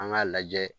An k'a lajɛ